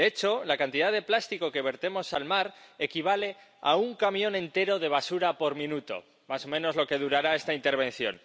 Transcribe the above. De hecho, la cantidad de plástico que vertemos al mar equivale a un camión entero de basura por minuto, más o menos lo que durará esta intervención.